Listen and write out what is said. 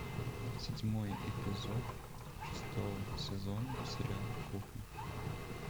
седьмой эпизод шестого сезона сериала кухня